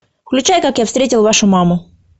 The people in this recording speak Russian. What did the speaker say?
включай как я встретил вашу маму